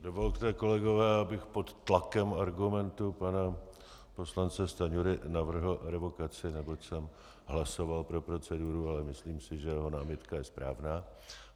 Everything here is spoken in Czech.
Dovolte, kolegové, abych pod tlakem argumentů pana poslance Stanjury navrhl revokaci, neboť jsem hlasoval pro proceduru, ale myslím si, že jeho námitka je správná.